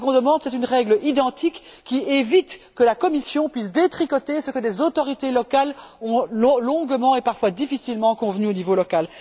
Nous demandons une règle identique qui évite que la Commission puisse détricoter ce que des autorités locales ont longuement, et parfois difficilement, convenu au niveau local.